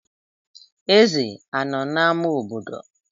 Ezè anọ n'ámá obodo?